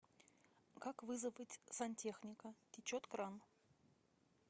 как вызвать сантехника течет кран